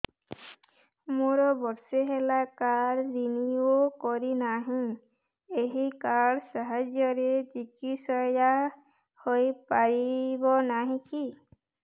ମୋର ବର୍ଷେ ହେଲା କାର୍ଡ ରିନିଓ କରିନାହିଁ ଏହି କାର୍ଡ ସାହାଯ୍ୟରେ ଚିକିସୟା ହୈ ପାରିବନାହିଁ କି